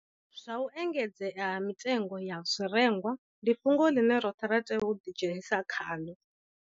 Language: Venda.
Zwa u engedzea ha mitengo ya zwirengwa ndi fhungo ḽine roṱhe ra tea u ḓidzhenisa khaḽo